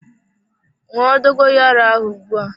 Ṅụọ dogoyaro ahụ ugbua!